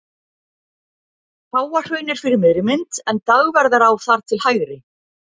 Háahraun er fyrir miðri mynd en Dagverðará þar til hægri.